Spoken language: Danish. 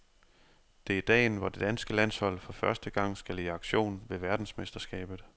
Det er dagen, hvor det danske landshold for første gang skal i aktion ved verdensmesterskabet.